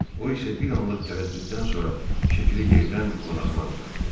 O isə bir anlıq tərəddüddən sonra şəkili yerdən qonağına uzatdı.